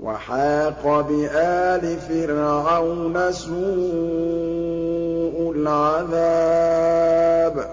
وَحَاقَ بِآلِ فِرْعَوْنَ سُوءُ الْعَذَابِ